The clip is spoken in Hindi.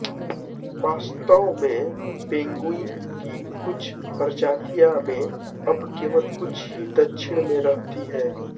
वास्तव में पेंगुइन की कुछ प्रजातियों में अब केवल कुछ ही दक्षिण में रहती हैं